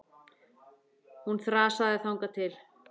Hún þrasaði þangað til.